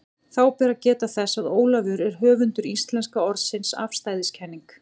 Þá ber að geta þess, að Ólafur er höfundur íslenska orðsins afstæðiskenning.